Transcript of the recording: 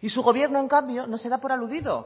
y su gobierno en cambio no se da por aludido